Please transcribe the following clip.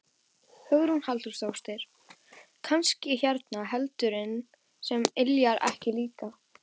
Hugrún Halldórsdóttir: Kannski hérna eldurinn sem yljar ykkur líka?